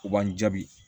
O b'an jaabi